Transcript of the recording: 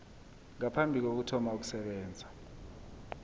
ngaphambi kokuthoma ukusebenza